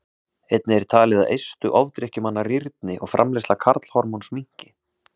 Einnig er talið að eistu ofdrykkjumanna rýrni og framleiðsla karlhormóns minnki.